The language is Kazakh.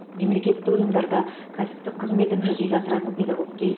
мемлекеттік ұйымдарда кәсіптік қызметін жүзеге асыратын педагогке